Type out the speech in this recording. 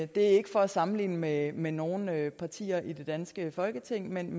det er ikke for at sammenligne med med nogen partier i det danske folketing men